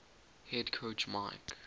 head coach mike